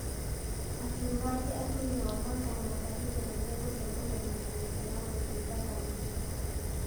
Akiuga atĩ atumia Omanga na Mbarire nĩ mĩgũcemania na kamĩtĩ ya gũthingata mũtugo ,